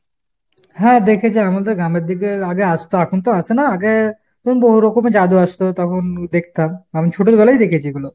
হ্যাঁ দেখেছি আমাদের গ্রামের দিকে আগে আসতো আখন তো আসেনা। আগে, বহু রকমের জাদু আসতো তখন দেখতাম। আমি ছোটবেলায় দেখেছি এগুলো।